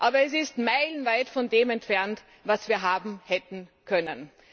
Aber es ist meilenweit von dem entfernt, was wir hätten haben können.